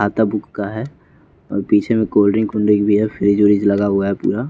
खाता बुक का है और पीछे में कोल्ड ड्रिंक कुल्डरिन भी है फ्रिज वरीज लगा हुआ है पूरा --